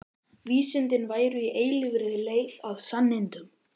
Vísindin væru í eilífri leit að sannindum.